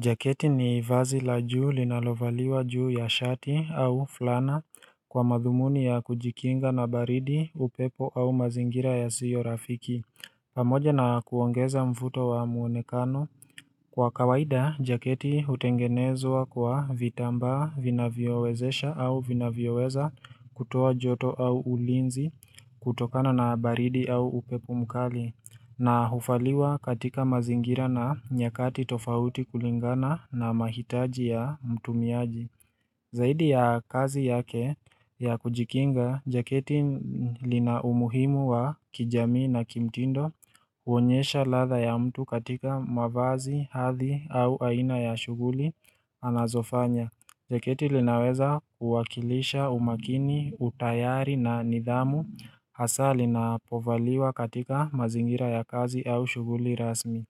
Jaketi ni vazi la juu linalovaliwa juu ya shati au fulana kwa madhumuni ya kujikinga na baridi upepo au mazingira yasiyo rafiki pamoja na kuongeza mvuto wa muonekano kwa kawaida jaketi hutengenezwa kwa vitambaa vinavyowezesha au vinavyoweza kutoa joto au ulinzi kutokana na baridi au upepo mkali na hufaliwa katika mazingira na nyakati tofauti kulingana na mahitaji ya mtumiaji Zaidi ya kazi yake ya kujikinga, jaketi lina umuhimu wa kijamii na kimtindo huonyesha ladha ya mtu katika mavazi, hathi au aina ya shughuli anazofanya. Jaketi linaweza kuwakilisha umakini, utayari na nidhamu, hasa linapovaliwa katika mazingira ya kazi au shughuli rasmi.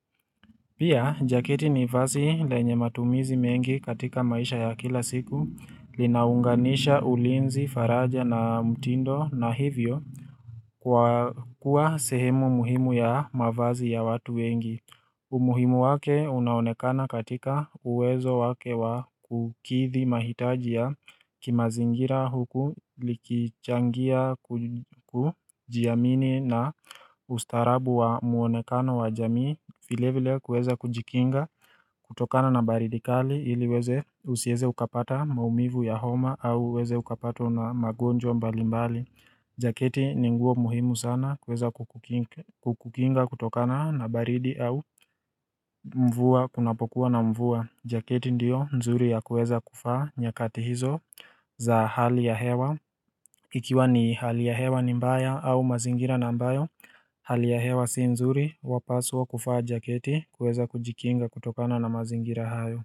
Pia, jaketi ni vazi lenye matumizi mengi katika maisha ya kila siku, linaunganisha ulinzi, faraja na mtindo na hivyo kwa kuwa sehemu muhimu ya mavazi ya watu wengi. Umuhimu wake unaonekana katika uwezo wake wa ukithi mahitaji ya kimazingira huku likichangia kujiamini na ustarabu wa muonekano wa jamii vile vile kueza kujikinga kutokana na baridi kali ili weze usieze ukapata maumivu ya homa au uweze ukapatwo na magonjwa mbali mbali Jaketi ni nguo muhimu sana kuweza kuki kukinga kutokana na baridi au mvua kunapokuwa na mvua jaketi ndiyo nzuri ya kuweza kuvaa nyakati hizo za hali ya hewa Ikiwa ni hali ya hewa ni mbaya au mazingira na ambayo hali ya hewa si nzuri wapaswa kufaa jaketi kuweza kujikinga kutokana na mazingira hayo.